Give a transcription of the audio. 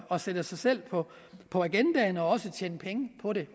at sætte sig selv på på agendaen og også tjene penge på det